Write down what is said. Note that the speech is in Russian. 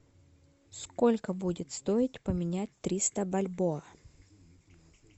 сколько будет стоить поменять триста бальбоа